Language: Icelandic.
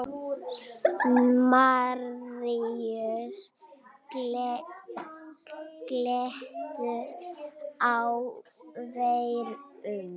Maríus getur átt við um